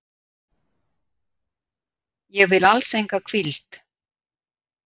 Ég vil alls enga hvíld.